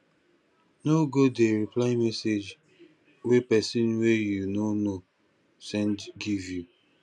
no go dey reply message wey pesin wey you no know send give you